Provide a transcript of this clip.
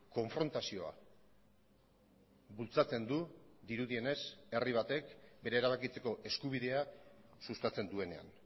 konfrontazioa bultzatzen du dirudienez herri batek bere erabakitzeko eskubidea sustatzen duenean